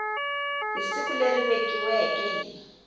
hi siku leri vekiweke hi